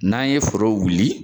N'an ye foro wuli